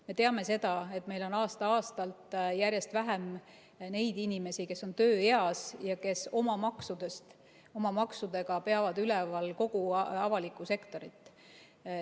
Me teame seda, et meil on aasta-aastalt järjest vähem neid inimesi, kes on tööeas ja kes oma maksudega peavad üleval kogu avalikku sektorit.